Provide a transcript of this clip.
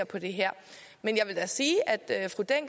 på det her men jeg vil da sige